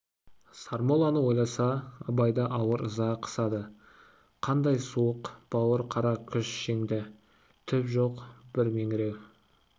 сармолланы ойласа абайды ауыр ыза қысады қандай суық бауыр қара күш жеңді түп жоқ бір меңіреу